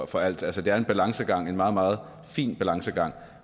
for alt altså det er en balancegang en meget meget fin balancegang